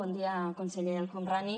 bon dia conseller el homrani